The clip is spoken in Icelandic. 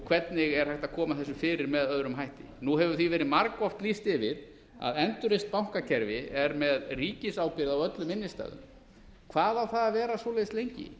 hvernig er hægt að koma þessu fyrir með öðrum hætti nú hefur því verið margoft lýst yfir að endurreist bankakerfi er með ríkisábyrgð á öllum innstæðum hvað á það að vera svoleiðis lengi